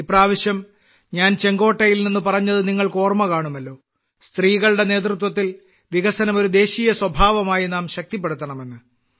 ഈ പ്രാവശ്യം ഞാൻ ചുവപ്പുകോട്ടയിൽ നിന്ന് പറഞ്ഞത് നിങ്ങൾക്ക് ഓർമ്മ കാണുമല്ലോ സ്ത്രീകളുടെ നേതൃത്വത്തിൽ വികസനം ഒരു ദേശീയ സ്വഭാവമായി നാം ശക്തിപ്പെടുത്തണമെന്ന്